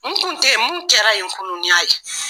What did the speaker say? N tun tɛ yen, mun kɛra yen kunun n y'a ye.